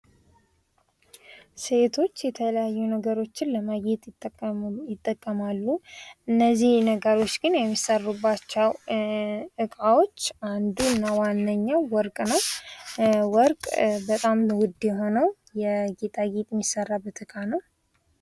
ሴቶች የተለያዩ ነገሮችን ለማጌጥ ይጠቀማሉ እነዚህ ነገሮች ግን የሚሰማሩባቸው እቃዎች አንዱና ዋነኛው ወርቅ ነው። ወርቅ በጣም ውድ የሆነው የጌጣጌጥ የሚሰራበት እቃ ነው።